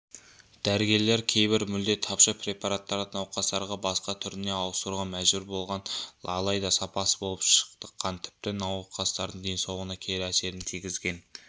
дәрігерлер кейбір мүлде тапшы препараттарды науқастарға басқа түріне ауыстыруға мәжбүр болған алайда сапасыз болып шыққан тіпті науқастардың денсаулығына кері әсерін тигізген